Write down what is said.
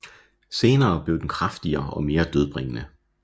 Senere blev den kraftigere og mere dødbringende